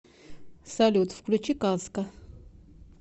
салют включи казка